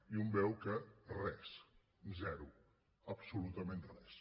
i un veu que res zero absolutament res